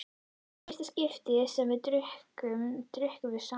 Í fyrsta skipti sem við drukkum, drukkum við saman.